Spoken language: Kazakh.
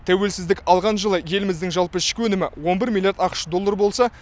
тәуелсіздік алған жылы еліміздің жалпы ішкі өнімі он бір миллиард ақш доллар болса